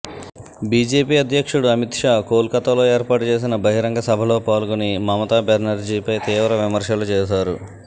BJP అధ్యక్షుడు అమిత్ షా కోల్కతాలో ఏర్పాటు చేసిన బహిరంగ సభలో పాల్గొని మమతా బెనర్జీపై తీవ్ర విమర్శలు చేశారు